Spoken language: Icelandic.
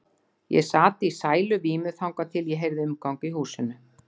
Ég sat í sæluvímu þangað til ég heyrði umgang í húsinu.